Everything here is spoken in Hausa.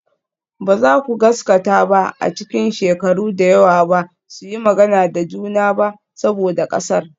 Ba za ku gaskata ba a cikin shekaru da yawa ba su yi magana da juna ba saboda ƙasar.